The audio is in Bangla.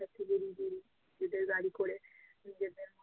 এদের গাড়ি করে নিজেদের